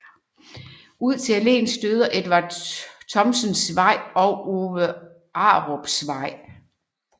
Ud til alléen støder Edvard Thomsens Vej og Ove Arups Vej